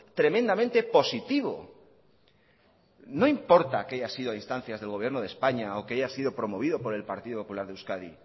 tremendamente positivo no importa que haya sido a instancias del gobierno de españa o que haya sido promovido por el partido popular de euskadi